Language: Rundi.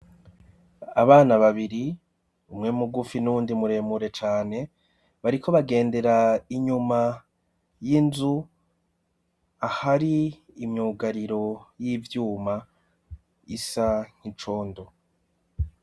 Abana babiri, umwe mugufi n'uwundi muremure cane bariko bagendera inyuma y'inzu ahari imyugariro y'ivyuma isa nk'icondo.